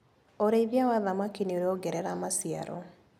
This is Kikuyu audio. ũrĩĩthia wa thamaki nĩũrongerera maciaro.